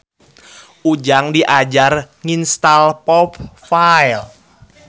Ujang diajar nginstal popfile.